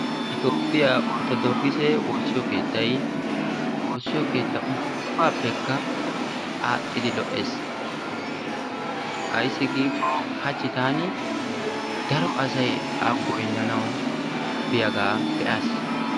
itoophphiya ortodookisse woosiyo keettay keehippe lo'ees, ayssi giikko hachi taani daro asay an goynanawu biyaga be'aaas.